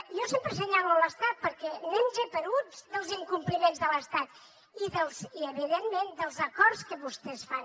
jo sempre assenyalo l’estat perquè anem geperuts dels incompliments de l’estat i evidentment dels acords que vostès fan